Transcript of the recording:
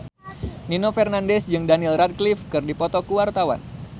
Nino Fernandez jeung Daniel Radcliffe keur dipoto ku wartawan